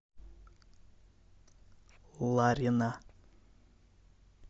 ларина